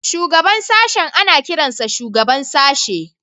Shugaban sashen ana kiransa Shugaban Sashe